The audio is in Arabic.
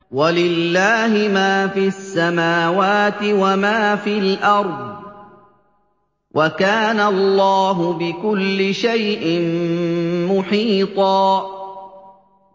وَلِلَّهِ مَا فِي السَّمَاوَاتِ وَمَا فِي الْأَرْضِ ۚ وَكَانَ اللَّهُ بِكُلِّ شَيْءٍ مُّحِيطًا